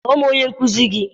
Kpọọ m onye nkuzi gị!